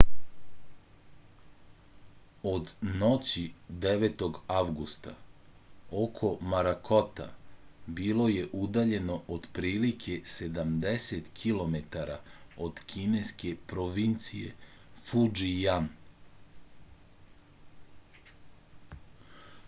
od noći 9. avgusta oko morakota bilo je udaljeno otprilike sedamdeset kilometara od kineske provincije fudžijan